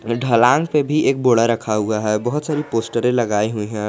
ढलान पे भी एक बोड़ा रखा हुआ है बहोत सारी पोस्टरे लगाई हुई हैं।